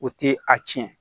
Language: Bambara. O tɛ a tiɲɛ